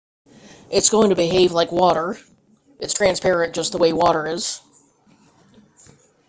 it's going to behave like water it's transparent just the way water is